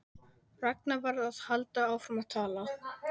Ragnar varð að halda áfram að tala.